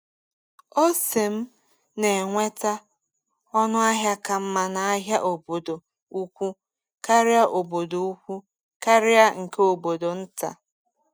Ọse m na-enweta ọnụ ahịa ka mma n’ahịa obodo ukwu karịa obodo ukwu karịa nke obodo nta.